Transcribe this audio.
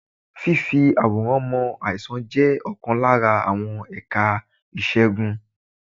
Fífì àwòrán mọ àìsàn jẹ́ ọ̀kan lára àwọn ẹ̀ka ìṣègùn.